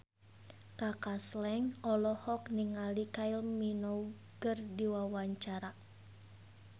Kaka Slank olohok ningali Kylie Minogue keur diwawancara